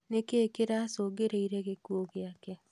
Nĩkĩĩ kĩracũngĩrĩirie gĩkuũ gĩake?